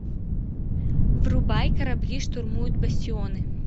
врубай корабли штурмуют бастионы